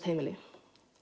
heimili